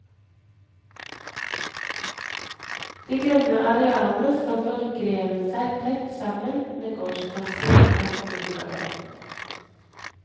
De grønne arealene skal forgrene seg tett sammen med gårdsplassene i hvert boligkvarter.